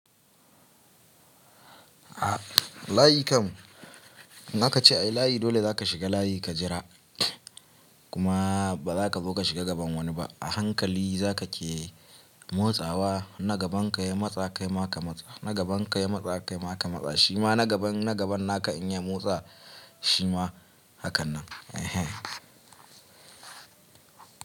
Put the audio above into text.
Layi kam in aka ce ayi layi dole za ka shiga layi ka jira kuma ba za ka zo ka shiga gaban wani ba. A hankali za ka ke motsawa na gaban ka ya matsa kai ma ka matsa, na gaban ka ya matsa kai ma ka matsa shima na gaban naka in ya motsa shima hakan nan.